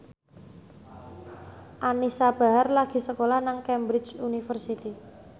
Anisa Bahar lagi sekolah nang Cambridge University